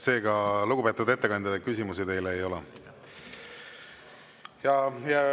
Seega, lugupeetud ettekandja, küsimusi teile ei ole.